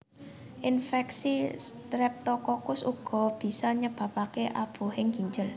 Infeksi Streptokokus uga bisa nyebabake abuhing ginjel